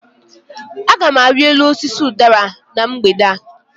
Agam ari elu osisi udara na mgbede a